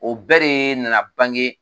O bɛɛ de nana bange